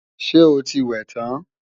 Ṣé o ti wẹ̀ tán?